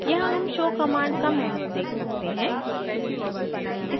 यहाँ हम show command का मैन्यूअल देख सकते हैं